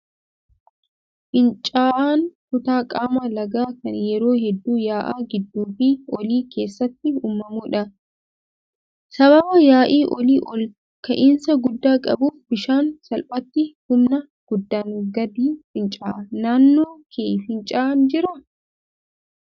Fincaa'aan kutaa qaama lagaa kan yeroo hedduu yaa'a gidduu fi olii keessatti uumamudha. Sababa yaa'i olii ol ka'iinsa guddaa qabuuf bishaan salphaatti humna guddaan gadi fincaa'a. Naannoo kee fincaa'aan jiraa?